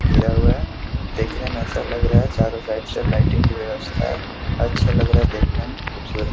घेरा हुआ है। देखने में अच्छा लग रहा है। चारों साइड से लाइटिंग की व्यवस्था है। अच्छा लग रहा है देखने में। खूबसूरत --